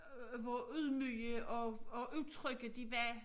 Hvor ydmyge og og utrygge de var